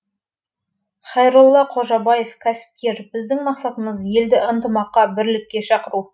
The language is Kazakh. хайрулла қожабаев кәсіпкер біздің мақсатымыз елді ынтымаққа бірлікке шақыру